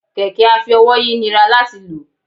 kẹkẹ afi-ówòyi nirá latí lọ